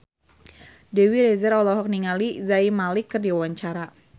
Dewi Rezer olohok ningali Zayn Malik keur diwawancara